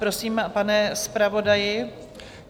Prosím, pane zpravodaji.